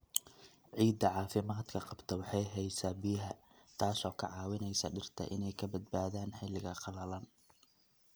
Ciidda caafimaadka qabta waxay haysaa biyaha, taasoo ka caawinaysa dhirta inay ka badbaadaan xilliga qalalan.